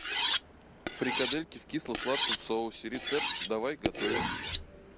фрикадельки в кисло сладком соусе рецепт давай готовить